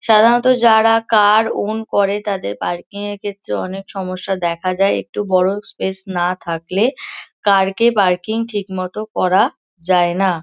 সাধারণত যারা car own করে তাদের পার্কিং -এর ক্ষেত্রে অনেক সমস্যা দেখা যায়। একটু বড়ো স্পেস না থাকলে কার কে পার্কিং ঠিকমতো করা যায় না।